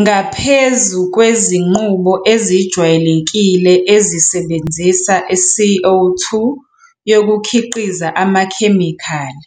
Ngaphezu kwezinqubo ezijwayelekile ezisebenzisa i-CO 2 yokukhiqiza amakhemikhali,